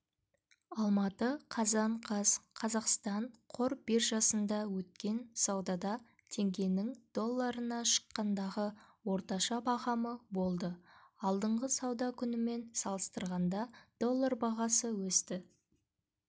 алматы қазан қаз қазақстан қор биржасында өткен саудада теңгенің долларына шаққандағы орташа бағамы болды алдыңғы сауда күнімен салыстырғанда доллар бағасы өсті